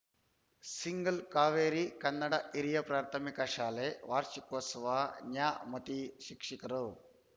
single Kaveri Kannada ಹಿರಿಯ ಪ್ರಾಥಮಿಕ ಶಾಲೆ ವಾರ್ಷಿಕೋತ್ಸವ ನ್ಯಾಮತಿ ಶಿಕ್ಷಕರು